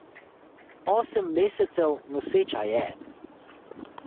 Osem mesecev noseča je.